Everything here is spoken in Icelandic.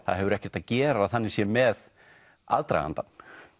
það hefur ekkert að gera þannig séð með aðdragandann